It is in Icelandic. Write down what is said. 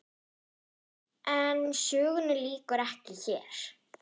En sögunni lýkur ekki hér.